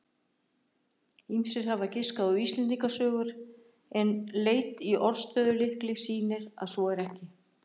Ýmsir hafa giskað á Íslendingasögur en leit í orðstöðulykli sýnir að svo er ekki.